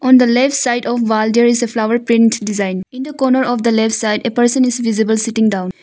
On the left side of wall there is a flower print design. In the corner of the left side a person is visible sitting down.